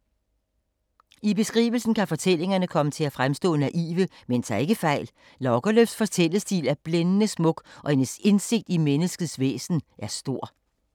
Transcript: I beskrivelsen kan fortællingerne komme til at fremstå naive, men tag ikke fejl. Lagerlöfs fortællestil er blændende smuk og hendes indsigt i menneskets væsen stor.